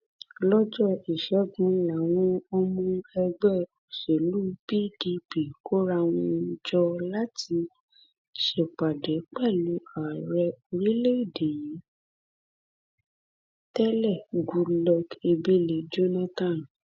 lọjọ ìṣẹgun làwọn ọmọ ẹgbẹ òṣèlú pdp kóra wọn jọ láti ṣèpàdé pẹlú ààrẹ orílẹèdè yìí tẹlẹ goodluck ebele jonathan